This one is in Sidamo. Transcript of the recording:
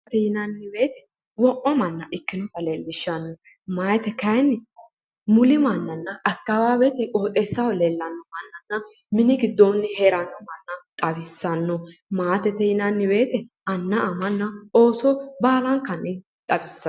Daganna maatete yineemmo woyite wo'ma manna ikkinota leellishshanno maate kayiinni muli mannanna akkawaawete qooxeessaho leellanno mannanna mini giddoonni heeranno manna xawissanno maatete yinanni woyite anna amanna ooso baalankanni xawissanno.